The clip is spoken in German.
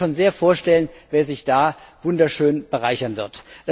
Ich kann mir schon sehr gut vorstellen, wer sich da wunderschön bereichern wird.